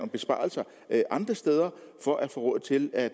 besparelser andre steder for at få råd til at